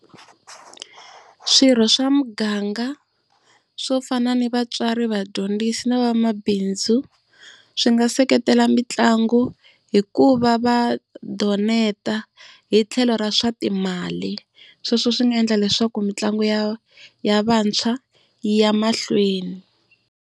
Swirho swa muganga swo fana ni vatswari vadyondzisi na vamabindzu swi nga seketela mitlangu hi ku va va donate hi tlhelo ra swa timali. Sweswo swi nga endla leswaku mitlangu ya ya vantshwa yi ya mahlweni.